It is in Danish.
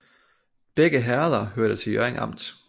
Begge herreder hørte til Hjørring Amt